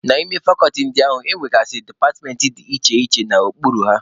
N'ime fakọlti ndị a, e nwegasịrị departmentị dị iche iche nọ n'okpuru ha.